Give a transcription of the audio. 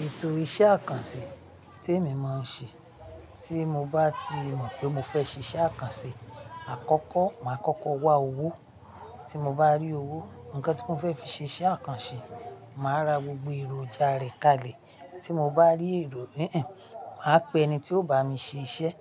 Nítorí iṣẹ́ àkànṣe tí èmi máa ń ṣe, tí mo bá ti mọ̀ pé mo fẹ́ ṣe iṣẹ́ àkànṣe àkọ́kọ́, màá kọ́kọ́ wá owó. Tí mo bá rí owó, nǹkan tí mo fẹ́ fi ṣe iṣẹ́ àkànṣe, màá ra gbogbo èròjà rẹ̀ kalẹ̀. Tí mo bá rí èrò, èhènh, màá pe ẹni tí ó bá mi ṣe iṣẹ́,